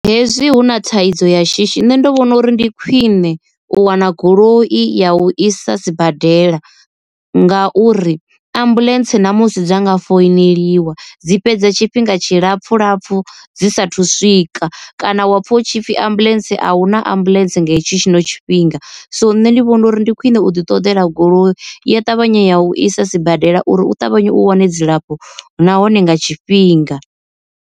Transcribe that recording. Hezwi hu na thaidzo ya shishi nṋe ndi vhona uri ndi khwine u wana goloi ya u isa sibadela, nga uri ambuḽentse namusi dza nga founeliwa dzi fhedza tshifhinga tshilapfhu lapfhu dzi sathu swika, kana wa pfha hutshipfi ambuḽentse ahuna ambuḽentse nga hetsho tshino tshifhinga. So nṋe ndi vhona uri ndi khwine u ḓi ṱoḓela goloi ya ṱavhanya ya u isa sibadela uri u ṱavhanye u wane dzilafho nahone nga tshifhinga.